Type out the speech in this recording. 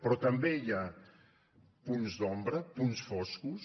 però també hi ha punts d’ombra punts foscos